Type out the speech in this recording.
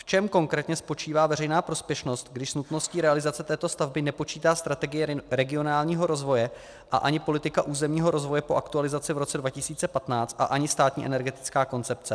V čem konkrétně spočívá veřejná prospěšnost, když s nutností realizace této stavby nepočítá strategie regionálního rozvoje a ani politika územního rozvoje po aktualizaci v roce 2015 a ani Státní energetická koncepce?